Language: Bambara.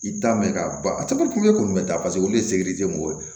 I t'a mɛn k'a ban a caman kulu ye kɔni bɛ taa paseke olu de ye mɔgɔw ye